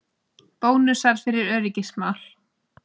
Bónusar fyrir öryggismál